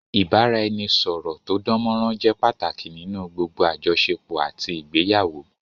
Ìbáraẹnisọ̀rọ̀ tó dánmọrán jẹ́ pàtàkì nínú gbogbo àjọṣepọ̀ àti ìgbéyàwó